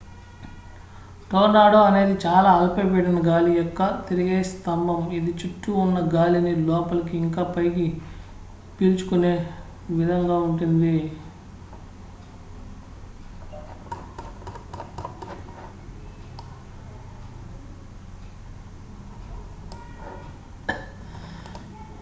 tornado అనేది చాలా అల్పపీడన గాలి యొక్క తిరిగే స్థంబం ఇది చుట్టూ ఉన్న గాలిని లోపలికి ఇంకా పైకి పీల్చుకునే విధంగా ఉంటుంది